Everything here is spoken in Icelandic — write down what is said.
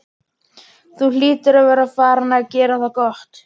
Þú hlýtur að vera farinn að gera það gott!